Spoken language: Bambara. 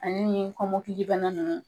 Ale nin kɔmɔkilibana ninnu